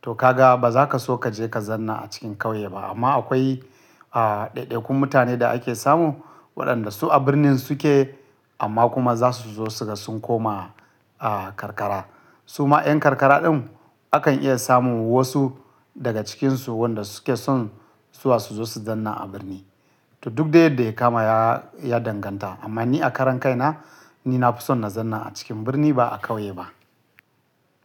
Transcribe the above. to ka ga ba za ka so ka je ka zanna a cikin kauye ba. Amma akwai, a, ɗaiɗaikun mutane da ake samu waɗanda su a birnin su ke amma kuma za su zo su ga sun koma, a, karkara. Suma yan karkara din akan iya samun wasu daga cikinsu wanda su ke son zuwa su zo su zanna a birni. To duk dai yadda ya kama ya, ya danganta. Amma ni a karan kai na, ni na fi son na zanna a cikin birni ba a kauye ba.